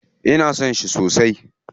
Ina son shi sosai.